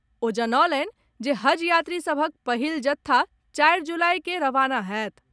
ओ जनौलनि जे हज यात्री सभक पहिल जत्था चारि जुलाई के रवाना होएत।